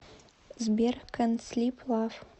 сбер кэнт слип лав